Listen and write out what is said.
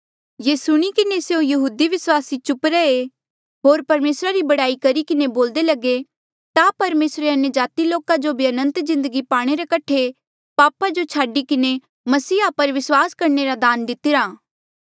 ये सुणी किन्हें स्यों यहूदी विस्वासी चुप रैहे होर परमेसरा री बड़ाई करी किन्हें बोल्दे लगे ता परमेसरे अन्यजाति लोका जो भी अनंत जिन्दगी पाणे रे कठे पापा जो छाडी किन्हें मसीहा पर विस्वास करणे रा दान दितिरा